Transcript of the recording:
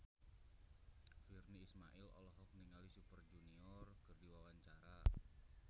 Virnie Ismail olohok ningali Super Junior keur diwawancara